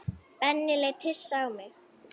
Benni leit hissa á mig.